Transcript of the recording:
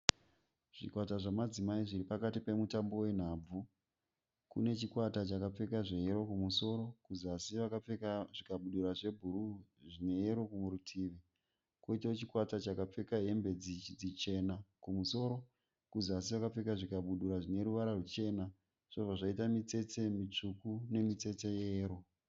Zvikwata zvamadzimai zviri pakati pemutambo wenhabvu. Kune chikwata chakapfeka zveyero kumusoro kuzasi vakapfeka zvikabudura zvebhuruu zvine yero murutivi. Koitawo chikwata chakapfeka hembe dzichena kumusoro kuzasi vakapfeka zvikabudura zvine ruvara ruchena zvobva zvaita mitsetse mitsvuku nemitsetse yeyero.